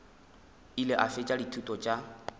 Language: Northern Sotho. ile a fetša dithuto tša